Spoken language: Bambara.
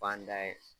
Fan da ye